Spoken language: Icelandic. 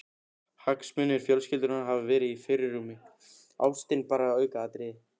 Hagsmunir fjölskyldunnar hafi verið í fyrirrúmi, ástin bara aukaatriði.